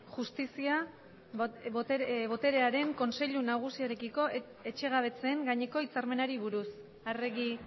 justizia boterearen kontseilu nagusiarekiko etxegabetzeen gaineko hitzarmenari buruz arregi